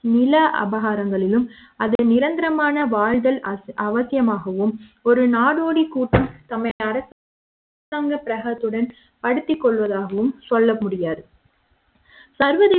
நில அபகாரங்களிலும் அதை நிரந்தர மான வாழ்க்கை அவசியமாகும் ஒரு நாடோடி கூட்டம் தம்மை அரசாங்க பிரகத்துடன் அழைத்துக் கொள்வதாகவும் சொல்ல முடியாது சர்வதேச